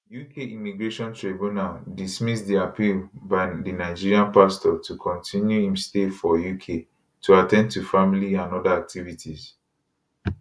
uk immigration tribunal dismiss di appeal by di nigerian pastor to continue im stay for uk to at ten d to family and oda activities